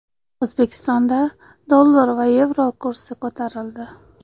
O‘zbekistonda dollar va yevro kursi ko‘tarildi.